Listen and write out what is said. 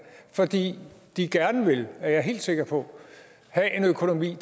fordi de gerne vil det er jeg helt sikker på have en økonomi